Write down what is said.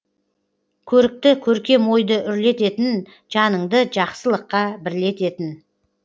көрікті көркем ойды үрлететін жаныңды жақсылыққа бірлететін